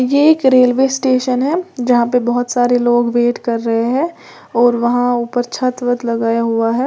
ये एक railway station है जहां पे बहोत सारे लोग वेट कर रहे हैं और वहां ऊपर छत वत लगाया हुआ है।